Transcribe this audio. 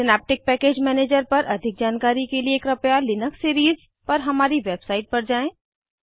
synaptic package manager पर अधिक जानकारी के लिए कृपया लिनक्स सीरीज़ पर हमारी वेबसाइट पर जाएँ